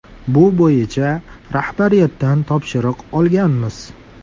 Bu bo‘yicha rahbariyatdan topshiriq olganmiz.